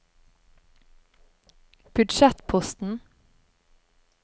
budsjettposten